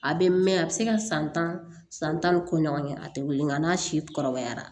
A bɛ mɛn a bɛ se ka san tan ni kɔ ɲɔgɔn kɛ a tɛ wili nga n'a si kɔrɔbayara